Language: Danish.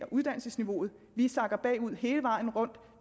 uddannelsesniveauet at vi sakker bagud hele vejen rundt